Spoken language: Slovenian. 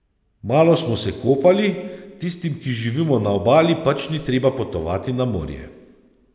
Malo smo se kopali, tistim, ki živimo na Obali, pač ni treba potovati na morje.